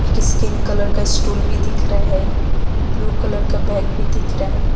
एक skin colour का stool भी दिख रहा है ब्ल्यू कलर का बैग भी दिख रहा है।